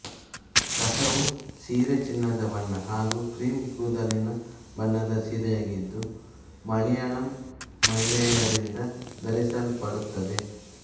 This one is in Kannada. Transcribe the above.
ಕಸವು ಸೀರೆ ಚಿನ್ನದ ಬಣ್ಣ ಹಾಗೂ ಕ್ರೀಮ್ ಕೂದಲಿನ ಬಣ್ಣದ ಸೀರೆಯಾಗಿದ್ದು ಮಲಯಾಳಂ ಮಹಿಳೆಯರಿಂದ ಧರಿಸಲ್ಪಡುತ್ತದೆ